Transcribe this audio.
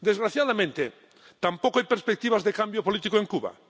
Desgraciadamente, tampoco hay perspectivas de cambio político en Cuba.